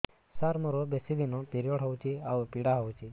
ସାର ମୋର ବେଶୀ ଦିନ ପିରୀଅଡ଼ସ ହଉଚି ଆଉ ପୀଡା ହଉଚି